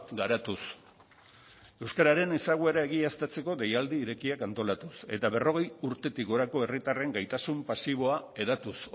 garatuz euskararen ezaguera egiaztatzeko deialdi irekiak antolatuz eta berrogei urtetik gorako herritarren gaitasun pasiboa hedatuz